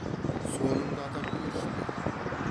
соныңды атап көрші деген